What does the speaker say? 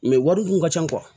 wari dun ka ca